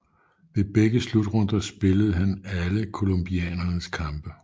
Ved begge slutrunder spillede han alle colombianernes kampe